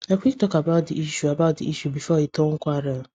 i quick talk about the issue about the issue before e turn quarrel